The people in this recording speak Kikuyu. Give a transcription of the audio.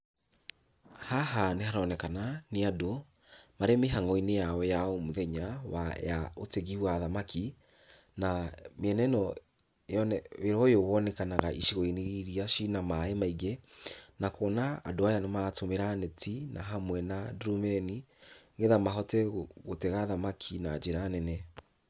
Haha nĩharonekana nĩ andũ marĩ mĩhango-inĩ yao ya o mũthenya ya ũtegi wa thamaki, na mĩena ĩno yone, wĩra ũyũ wonekanaga icigo-inĩ irĩa ciĩna maaĩ maingĩ, na kuona andũ aya nĩmaratũmĩra neti na hamwe na ndurumeni, nĩgetha mahote gũtega thamaki na njĩra nene.